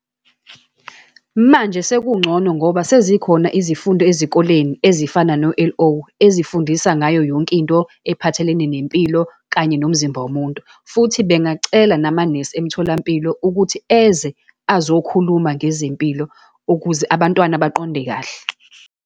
Manje sekungcono ngoba sezikhona izifundo ezikoleni ezifana no-L_O, ezifundisa ngayo yonkinto ephathelene nempilo, kanye nomzimba womuntu. Futhi bengacela namanesi emtholampilo, ukuthi eze azokhuluma ngezempilo ukuze abantwana baqonde kahle.